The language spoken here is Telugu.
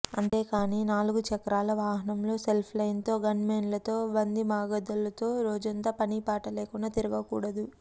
అంతేకాని నాలుగు చక్రాల వాహనంలో సెల్ఫోన్తో గన్మెన్లతో వందిమాగదులతో రోజంతా పనిపాటలేకుండా తిరగకూడదు